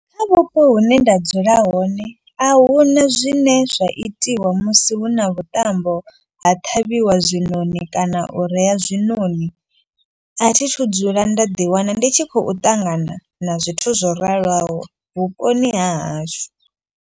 Kha vhupo hune nda dzula hone ahuna zwine zwa itiwa musi hu na vhuṱambo ha ṱhavhiwa zwiṋoni. Kana u rea zwiṋoni a thi thu dzula nda ḓi wana ndi tshi khou ṱangana na zwithu zwo raloho vhuponi ha hashu.